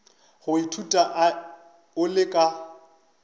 go ithuta o le ka